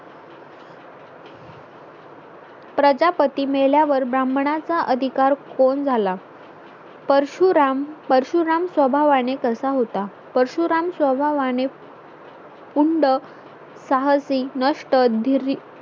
प्रजापती मेल्या वर ब्राह्मणाचा अधिकार कोण झाला परशुराम परशुराम स्वभावाने कसा होता परशुराम स्वभावाने पुंड साहसी नष्ट धीरी